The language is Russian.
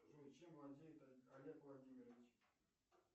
джой чем владеет олег владимирович